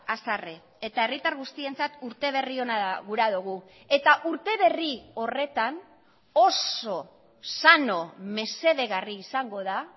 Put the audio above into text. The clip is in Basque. haserre eta herritar guztientzat urteberri ona gura dugu eta urteberri horretan oso sano mesedegarri izango da